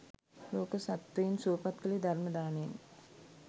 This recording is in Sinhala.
ලෝක සත්ත්වයින් සුවපත් කළේ ධර්ම දානයෙන්.